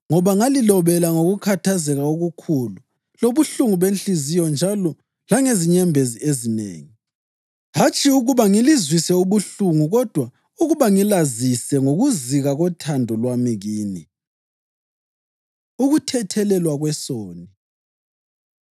Ngoba ngalilobela ngokukhathazeka okukhulu lobuhlungu benhliziyo njalo langezinyembezi ezinengi, hatshi ukuba ngilizwise ubuhlungu kodwa ukuba ngilazise ngokuzika kothando lwami kini. Ukuthethelelwa kwesoni